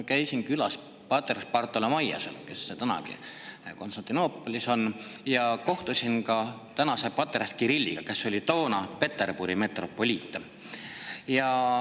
Käisin külas patriarh Bartholomeosel, kes praegugi Konstantinoopolis on, ja kohtusin ka praeguse patriarhi Kirilliga, kes oli toona Peterburi metropoliit.